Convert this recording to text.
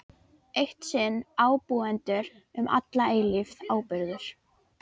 Eitt sinn ábúendur, um alla eilífð áburður.